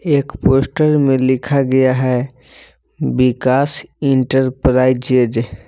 एक पोस्टर में लिखा गया है विकास इंटरप्राइजेज